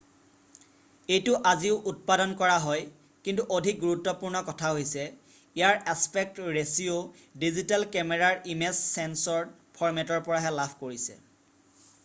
এইটো আজিও উৎপাদন কৰা হয় কিন্তু অধিক গুৰুত্বপূৰ্ণ কথা হৈছে ইয়াৰ এছপেক্ট ৰেচিঅ' ডিজিটেল কেমেৰাৰ ইমেজ ছেন্সৰ ফৰ্মেটৰ পৰাহে লাভ কৰিছে